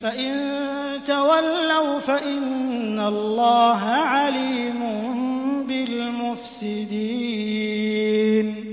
فَإِن تَوَلَّوْا فَإِنَّ اللَّهَ عَلِيمٌ بِالْمُفْسِدِينَ